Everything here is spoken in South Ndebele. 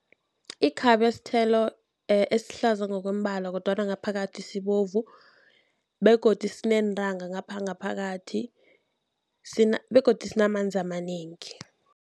Ikhabe sithelo esihlaza ngokombala kodwana ngaphakathi sibovu begodu sineentanga ngapha ngaphakathi begodu sinamanzi amanengi.